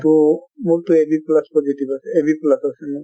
টো মোৰটো ab plus positive আছে, ab plus আছে মোৰ |